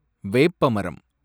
வேப்ப மரம்